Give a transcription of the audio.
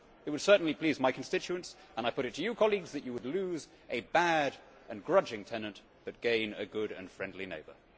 It would certainly please my constituents, and I put it to you, colleagues, that you would lose a bad and grudging tenant, but gain a good and friendly neighbour.